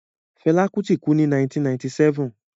Fela Kuti kú ní 1997.